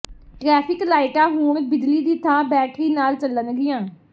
traffic ਲਾਈਟਾਂ ਹੁਣ ਬਿਜਲੀ ਦੀ ਥਾਂ ਬੈਟਰੀ ਨਾਲ ਚੱਲਣਗੀਆਂ